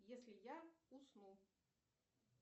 если я усну